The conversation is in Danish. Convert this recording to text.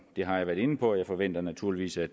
har jeg været inde på og jeg forventer naturligvis at